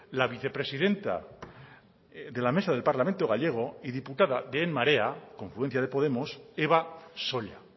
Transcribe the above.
la vicepresidenta de la mesa del parlamento gallego y diputada de en marea confluencia de podemos eva solla